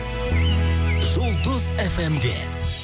жұлдыз фм де